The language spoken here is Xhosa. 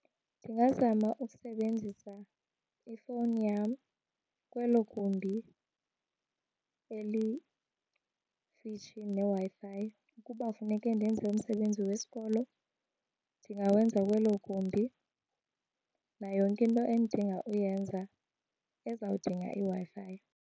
Ndingazama usebenzisa ifowuni yam kwelo gumbi elikufitshi neWi-Fi. Uba funeke ndenze umsebenzi wesikolo ndingawenza kwelo gumbi nayo yonke into endidinga uyenza ezawudinga iWi-Fi.